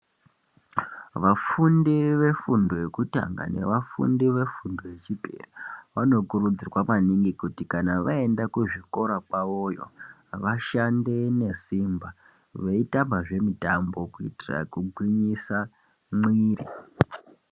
Vafundi vefundo yekutanga nevafundi vefundo yechipiri ,vanokurudzirwa maningi kuti kana vaenda kuzvikora kwavoyo ,vashande nesimba veitambazve mitambo kuitira kugwinyisa mwiri.